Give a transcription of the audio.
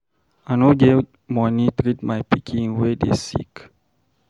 I no get money treat my pikin wey dey sick.